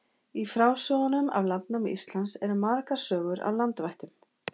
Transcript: Í frásögnum af landnámi Íslands eru margar sögur af landvættum.